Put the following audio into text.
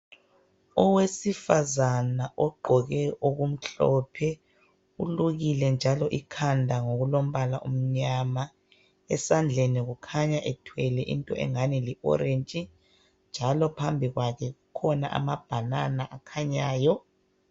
Owesifazana ogqoke okumhlophe, ulukile njalo ikhanda ngokulombala omnyama. Esandleni kukhanya ethwele into engani li orange .Njalo phambi kwakhe kukhona amabanana akhanyayo.